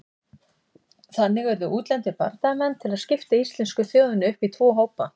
Þannig urðu útlendir bardagamenn til að skipta íslensku þjóðinni upp í tvo hópa.